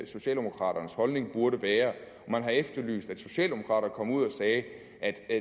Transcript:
socialdemokraternes holdning burde være og man har efterlyst at socialdemokrater kom ud og sagde